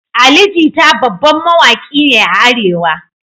Ali Jita babban mawaki ne a arewa